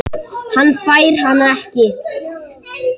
Hann fær hana ekki.